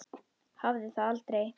Hafði það aldrei.